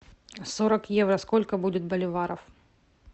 сорок евро сколько будет боливаров